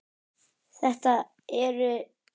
Þetta eru